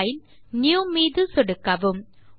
file ஜிடிஜிடி Newமீது சொடுக்கவும்